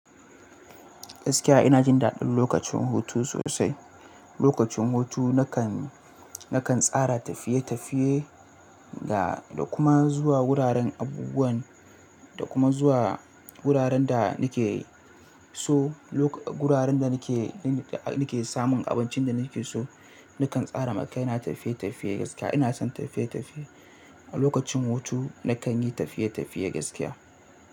Gaskiya ina jin daɗin lokacin hutu sosai. Lokacin hutu nakan, nakan tsara tafiye-tafiye da, da kuma zuwa wuraren abubuwan, da kuma zuwa wuraren da nake so, loka wuraren da nake, da nake samun abincin da nake so, nakan tsara makai na tafiye-tafiye gaskiya ina son tafiye-tafiye. A lokacin hutu nakan yi tafiye-tafiye gaskiya.